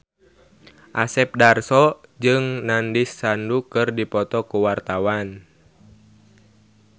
Asep Darso jeung Nandish Sandhu keur dipoto ku wartawan